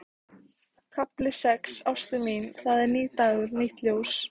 KAFLI SEX Ástin mín, það er nýr dagur, nýtt ljós.